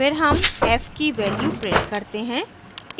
फिर हम f की value print करते हैं